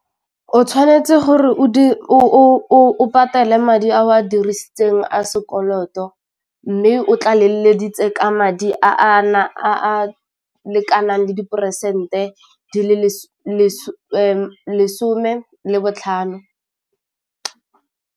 O tshwanetse gore o patele madi a o a dirisitseng a sekoloto mme o tlalelleditse ka madi a na a a lekanang le diperesente di le lesome le botlhano.